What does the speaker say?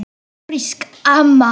Ófrísk, amma!